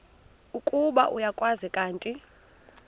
ukuba uyakwazi kanti